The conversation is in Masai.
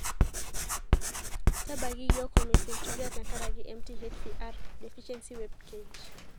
Tabaiki yiok''Homocystinuria tenkaraki MTHFR deficiency''webpage.